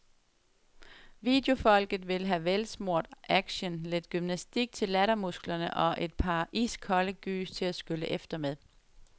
Videofolket vil have velsmurt action, lidt gymnastik til lattermusklerne og et par iskolde gys til at skylle efter med.